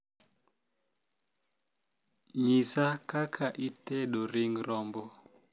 nyisa kaka itedo ring rombo